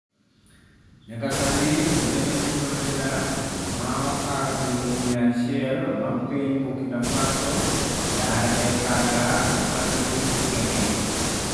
Nyaka sani jolweny osechuno jodak ma okal eluf mia achiel mag piny Burkina Faso dar e kar dak margi higa ni